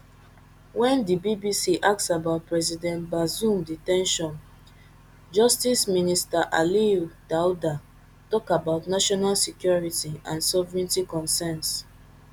wen di bbc ask about president bazoum de ten tion justice minister aliyou daouda tok about national security and sovereignty concerns